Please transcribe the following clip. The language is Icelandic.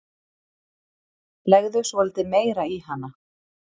Legðu svolítið meira í hana.